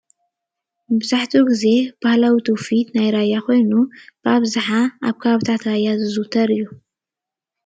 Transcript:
መብዛሕትኡ ግዜ ባህላዊ ትውፊት ናይ ራያ ኮይኑ ኣብዝሓ ኣብ ከባቢታት ራያ ዝዝውተር እዩ፡፡